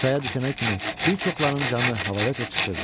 Çaya düşənə kimi bir çoxlarının canı havadaca çıxırdı.